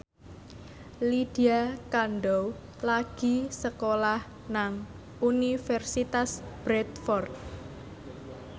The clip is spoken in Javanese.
Lydia Kandou lagi sekolah nang Universitas Bradford